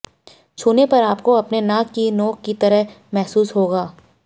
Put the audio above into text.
छूने पर आपको अपने नाक की नोक की तरह महसूस होगा